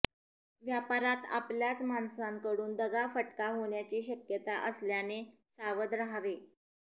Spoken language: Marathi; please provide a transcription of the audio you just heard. व्यापारात आपल्याच माणसाकडून दगाफटका होण्याची शक्यता असल्याने सावध राहावे